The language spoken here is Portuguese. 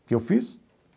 O que eu fiz?